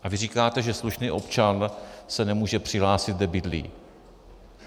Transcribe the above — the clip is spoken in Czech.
A vy říkáte, že slušný občan se nemůže přihlásit, kde bydlí.